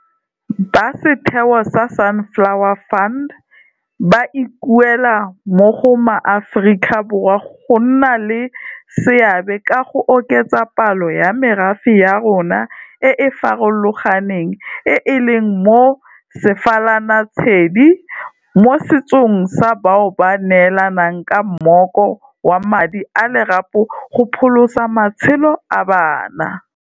Ba setheo sa Sunflower Fund ba ikuela mo go maAforika Borwa go nna le seabe ka go oketsa palo ya merafe ya rona e e farologaneng e e leng mo sefalanatshedi mosetsong sa bao ba neelanang ka mmoko wa madi a lerapo go pholosa matshelo a bana.